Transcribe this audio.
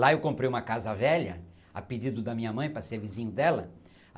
Lá eu comprei uma casa velha, a pedido da minha mãe para ser vizinho dela.